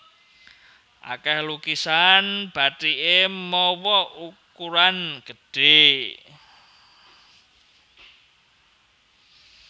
Akèh lukisan bathiké mawa ukuran gedhé